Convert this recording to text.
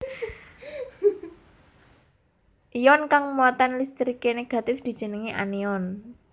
Ion kang muatan listriké négatif dijenengi anion